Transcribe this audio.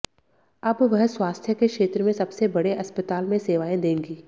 अब वह स्वास्थ्य के क्षेत्र में सबसे बड़े अस्पताल में सेवाएं देंगी